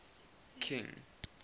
king